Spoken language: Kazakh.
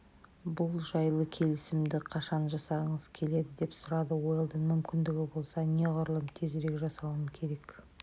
бұл жайлы келісімді қашан жасағыңыз келеді деп сұрады уэлдон мүмкіндігі болса неғұрлым тезірек жасауым керек